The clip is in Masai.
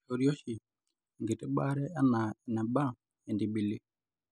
keishoori oshi enkiti baare anaa eneba entibili